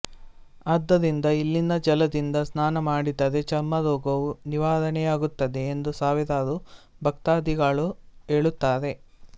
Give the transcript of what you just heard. ಆದ್ದರಿಂದ ಇಲ್ಲಿನ ಜಲದಿಂದ ಸ್ನಾನ ಮಾಡಿದರೆ ಚರ್ಮರೋಗವು ನಿವಾರಣೆಯಾಗುತ್ತದೆ ಎಂದು ಸಾವಿರಾರು ಭಕ್ತಾಧಿಗಳು ಹೇಳುತ್ತಾರೆ